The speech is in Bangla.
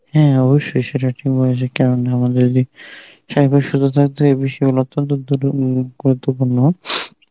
হ্যাঁ অবশ্যই সেটা ঠিক বলেছ কেননা আমাদের গুরুত্বপূর্ণ,